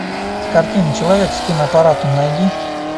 картина человек с киноаппаратом найди